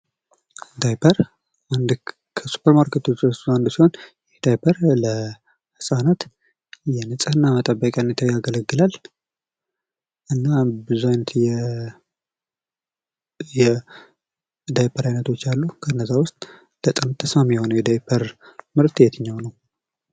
ዳይፐር ከሱፐርማርኬት እቃዎች ውስጥ አንዱ ሲሆን ይህ ዳይፐር ለህፃናት ንጽህና መጠበቂነት ያገለግላል ብዙ አይነት የዳይፐር ዓይነቶች አሉ። እና ከነዛ መካከል በጣም አሪፉ የትኛው ነው?